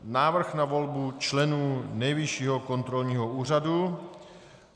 Návrh na volbu členů Nejvyššího kontrolního úřadu